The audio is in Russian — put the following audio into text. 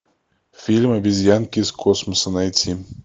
фильм обезьянки из космоса найти